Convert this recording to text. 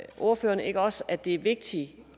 ordføreren ikke også at det er vigtigt jo